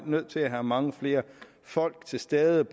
nødt til at have mange flere folk til stede